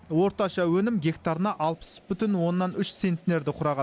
орташа өнім гектарына алпыс бүтін оннан үш центнерді құраған